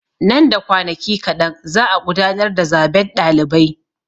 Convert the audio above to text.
Nan da kwanaki kaɗan za'a gudanar da zaben ɗalibai.